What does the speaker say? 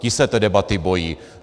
Ti se té debaty bojí.